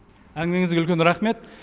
әңгімеңізге үлкен рахмет